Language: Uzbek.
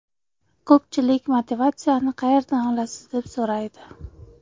Ko‘pchilik motivatsiyani qayerdan olasiz deb so‘raydi.